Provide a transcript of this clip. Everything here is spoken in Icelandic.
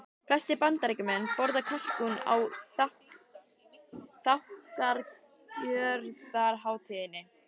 Flestir Bandaríkjamenn borða kalkún á þakkargjörðarhátíðinni.